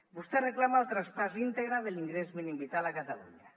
vostè reclama el traspàs íntegre de l’ingrés mínim vital a catalunya